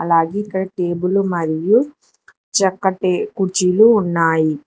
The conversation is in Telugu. అలాగే ఇక్కడ టేబులు మరియు చక్కటి కుర్చీలు ఉన్నాయి.